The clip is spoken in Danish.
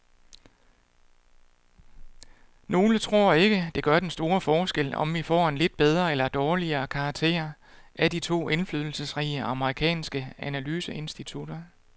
Nogle tror ikke, det gør den store forskel, om vi får en lidt bedre eller dårligere karakter af de to indflydelsesrige amerikanske analyseinstitutter.